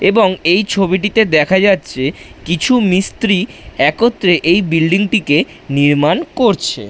এবং এই ছবিটিতে দেখা যাচ্ছে কিছু মিস্ত্রি একত্র্রে এই বিল্ডিং টিকে নির্মাণ করছে।